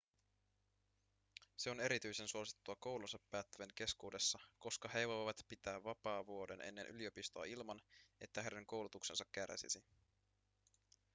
se on erityisen suosittua koulunsa päättävien keskuudessa koska he voivat pitää vapaavuoden ennen yliopistoa ilman että heidän koulutuksensa kärsisi